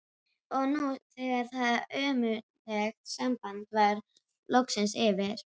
Og nú þegar það ömurlega samband var loksins yfir